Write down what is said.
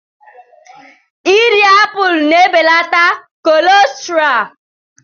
Irí apụl na-ebelata kọlesterọọl.